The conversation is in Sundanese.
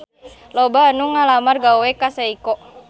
Loba anu ngalamar gawe ka Seiko